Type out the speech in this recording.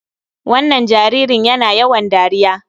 Wannan jaririn yana yawan dariya.